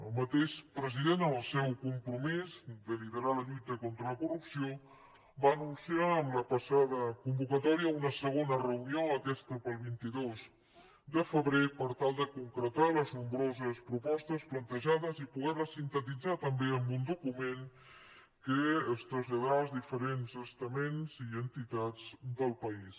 el mateix president en el seu compromís de liderar la lluita contra la corrupció va anunciar en la passada convocatòria una segona reunió aquesta per al vint dos de febrer per tal de concretar les nombroses propostes plantejades i poder les sintetitzar també en un document que es traslladarà als diferents estaments i entitats del país